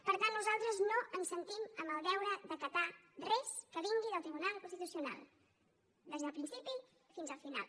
per tant nosaltres no ens sentim amb el deure d’acatar res que vingui del tribunal constitucional des del principi fins al final